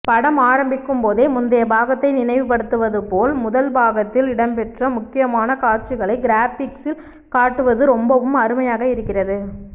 படம் ஆரம்பிக்கும்போதே முந்தைய பாகத்தை நினைவுபடுத்துவதுபோல் முதல் பாகத்தில் இடம்பெற்ற முக்கியமான காட்சிகளை கிராபிக்ஸில் காட்டுவது ரொம்பவும் அருமையாக இருக்கிறது